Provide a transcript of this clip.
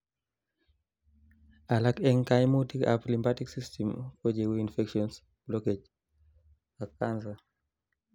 alak en kaimutik ab lymphatic system kocheu infections, blockage ak cancer